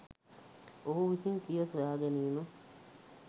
ඔහු විසින් සිය සොයාගැනීම